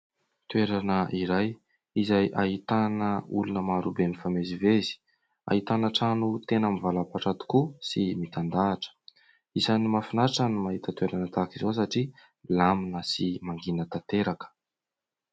Toerana iray izay ahitana olona marobe mifamezivezy. Ahitana trano tena mivalapatra tokoa sy mitandahatra. Isan'ny mahafinaritra ny mahita toerana tahaka izao satria milamina sy mangina tanteraka.